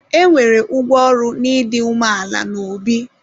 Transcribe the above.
E nwere ụgwọ ọrụ n'ịdị umeala n'obi.